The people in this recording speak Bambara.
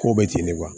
Ko bɛ ten de kuwa